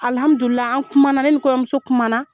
Alihamdulila an kumana, ne ni kɔɲɔmuso kumana.